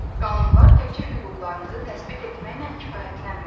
Qanunlar təkcə hüquqlarımızı təsbit etməklə kifayətlənmir.